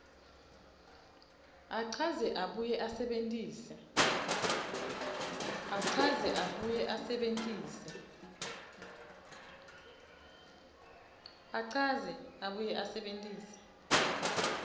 achaze abuye asebentise